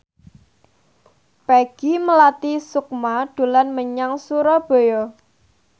Peggy Melati Sukma dolan menyang Surabaya